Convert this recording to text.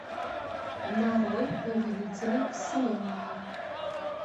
нарой повелители вселенной